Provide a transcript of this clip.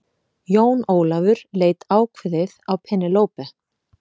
Jón Ólafur leit ákveðið á Penélope.